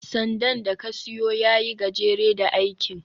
sandan da ka siyo ya yi gajere da aikin